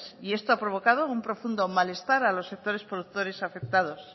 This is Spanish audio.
y esto ha provocado un profundo malestar a los sectores productores afectados